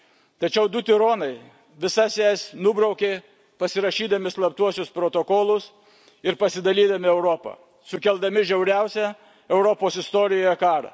Tačiau du tironai visas jas nubraukė, pasirašydami slaptuosius protokolus ir pasidalindami Europą, sukeldami žiauriausią Europos istorijoje karą.